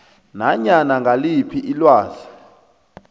nanyana ngiliphi ilwazi